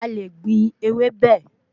A le gbìn ewébẹ̀